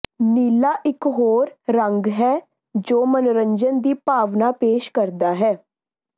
ਨੀਲਾ ਇਕ ਹੋਰ ਰੰਗ ਹੈ ਜੋ ਮਨੋਰੰਜਨ ਦੀ ਭਾਵਨਾ ਪੇਸ਼ ਕਰਦਾ ਹੈ